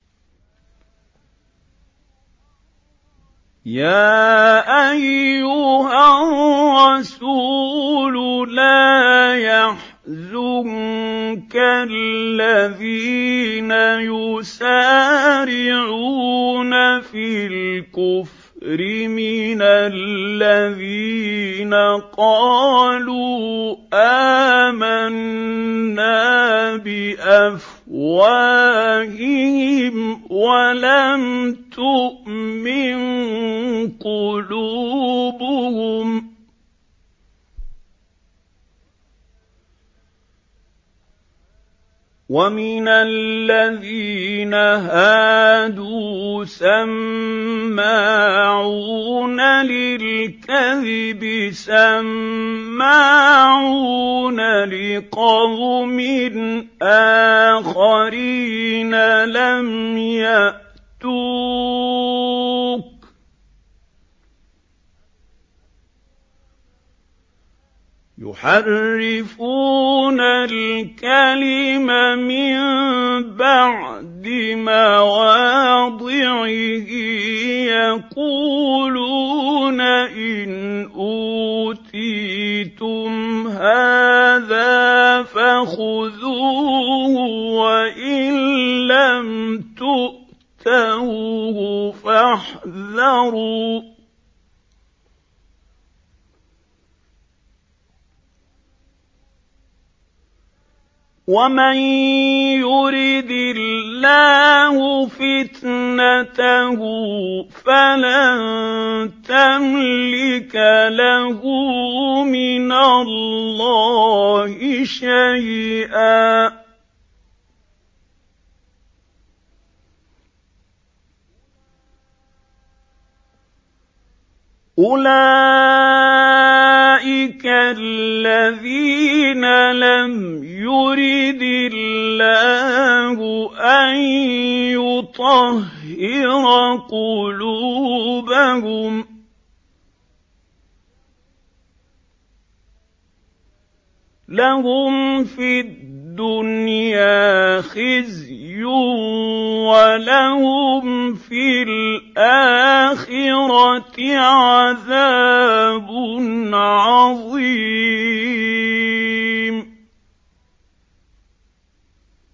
۞ يَا أَيُّهَا الرَّسُولُ لَا يَحْزُنكَ الَّذِينَ يُسَارِعُونَ فِي الْكُفْرِ مِنَ الَّذِينَ قَالُوا آمَنَّا بِأَفْوَاهِهِمْ وَلَمْ تُؤْمِن قُلُوبُهُمْ ۛ وَمِنَ الَّذِينَ هَادُوا ۛ سَمَّاعُونَ لِلْكَذِبِ سَمَّاعُونَ لِقَوْمٍ آخَرِينَ لَمْ يَأْتُوكَ ۖ يُحَرِّفُونَ الْكَلِمَ مِن بَعْدِ مَوَاضِعِهِ ۖ يَقُولُونَ إِنْ أُوتِيتُمْ هَٰذَا فَخُذُوهُ وَإِن لَّمْ تُؤْتَوْهُ فَاحْذَرُوا ۚ وَمَن يُرِدِ اللَّهُ فِتْنَتَهُ فَلَن تَمْلِكَ لَهُ مِنَ اللَّهِ شَيْئًا ۚ أُولَٰئِكَ الَّذِينَ لَمْ يُرِدِ اللَّهُ أَن يُطَهِّرَ قُلُوبَهُمْ ۚ لَهُمْ فِي الدُّنْيَا خِزْيٌ ۖ وَلَهُمْ فِي الْآخِرَةِ عَذَابٌ عَظِيمٌ